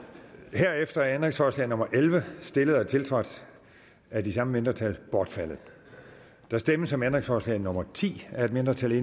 herefter er ændringsforslag nummer elleve stillet og tiltrådt af de samme mindretal bortfaldet der stemmes om ændringsforslag nummer ti af et mindretal